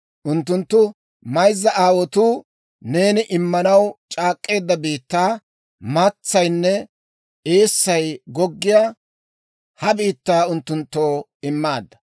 Unttunttu mayzza aawaatoo neeni immanaw c'aak'k'eedda biittaa, maatsaynne eessay goggiyaa ha biittaa unttunttoo immaadda;